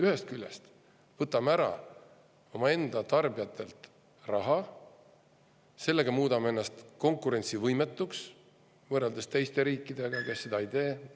Ühest küljest võtame omaenda tarbijatelt raha ära ja muudame ennast konkurentsivõimetuks võrreldes teiste riikidega, kes midagi sellist ei tee.